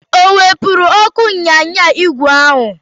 O wepụrụ ọkụ ịnyịnya ígwè ahụ?